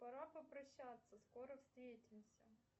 пора попрощаться скоро встретимся